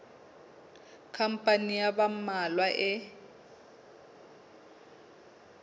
khampani ya ba mmalwa e